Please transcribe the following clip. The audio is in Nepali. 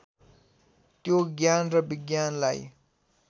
त्यो ज्ञान र विज्ञानलाई